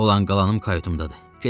Olan qalanım kayutumdadır.